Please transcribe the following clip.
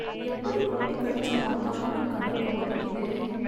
எப்படி கூட்டி கழிச்சு பார்த்தாலும் கணக்கு ஒதைக்குதே...